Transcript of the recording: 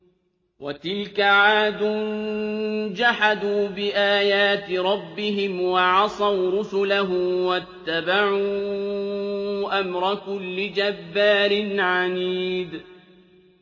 وَتِلْكَ عَادٌ ۖ جَحَدُوا بِآيَاتِ رَبِّهِمْ وَعَصَوْا رُسُلَهُ وَاتَّبَعُوا أَمْرَ كُلِّ جَبَّارٍ عَنِيدٍ